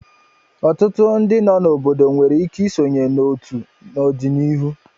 Ọtụtụ ndị nọ n'obodo nwere ike isonye n'otu n'ọdịnihu.